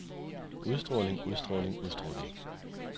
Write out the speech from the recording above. udstråling udstråling udstråling